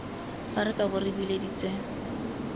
fa re kabo re bileditswe